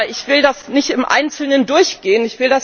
Ich will das nicht im Einzelnen durchgehen.